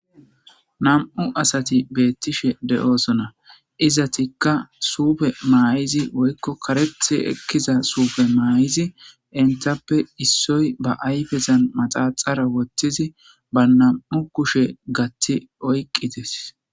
nam7u asati beettishe de7oosona izatikka suufe maayizi woykko karethe ekkiza suufe maay7izi entappe issoy ba ayfezan maxaxara wottizi ba nam7u kushe gatti oyqqites